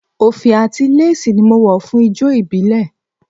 Òfì àti léèsì ni mo wọ̀ fún ijó ìbílẹ̀